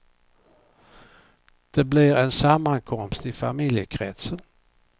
Det blir en sammankomst i familjekretsen.